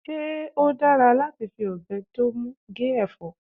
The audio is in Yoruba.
se o dara lati fi obe ti o mu fi ge efo?